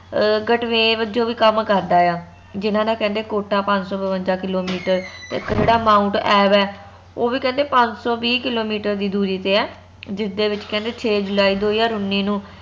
ਅਹ ਗਟਵੇਵ ਜੋ ਵੀ ਕਾਮ ਕਰਦਾ ਆ ਜਿਨ੍ਹਾਂ ਨਾ ਕਹਿੰਦੇ ਕੋਟਾ ਪੰਜ ਸੋ ਬਵੰਜਾ ਕਿੱਲੋਮੀਟਰ ਇਕ ਜੇਹੜਾ ਮਾਊਂਟ ਐਵ ਆ ਓਹ ਵੀ ਕਹਿੰਦੇ ਪੰਜ ਸੋ ਵੀਂ ਕਿੱਲੋਮੀਟਰ ਦੀ ਦੂਰੀ ਤੇ ਆ ਜਿਸ ਦੇ ਵਿਚ ਕਹਿੰਦੇ ਛੇ ਜੁਲਾਈ ਦੋ ਹਜਾਰ ਉੱਨੀ ਨੂੰ